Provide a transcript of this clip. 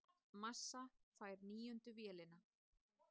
Massa fær níundu vélina